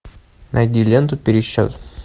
найди ленту пересчет